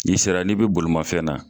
N'i sera n'i bɛ bolimafɛn na.